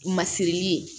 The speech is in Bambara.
Masiri ye